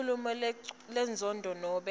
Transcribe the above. inkhulumo lenenzondo nobe